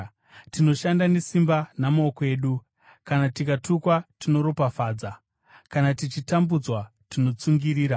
Tinoshanda nesimba namaoko edu. Kana tikatukwa tinoropafadza; kana tichitambudzwa, tinotsungirira;